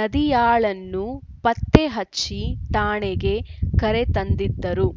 ನದಿಯಾಳನ್ನು ಪತ್ತೆ ಹಚ್ಚಿ ಠಾಣೆಗೆ ಕರೆ ತಂದಿದ್ದರು